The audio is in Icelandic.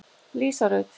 Lísa Rut.